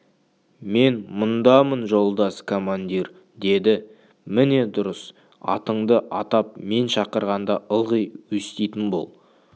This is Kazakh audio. мен мұндамын жолдас командир деді міне дұрыс атыңды атап мен шақырғанда ылғи өститін бол